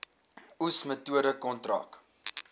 oes metode kontrak